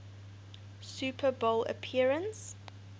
super bowl appearance